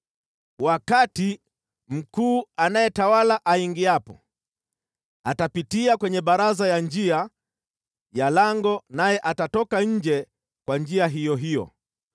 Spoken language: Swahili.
Wakati mkuu anayetawala aingiapo, atapitia kwenye baraza ya njia ya lango, naye atatoka nje kwa njia hiyo hiyo.